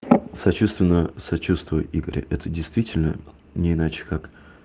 сочувственно сочувствую игорь это действительно не иначе как